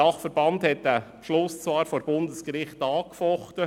Der DBT hat den Beschluss vor dem Bundesgericht angefochten;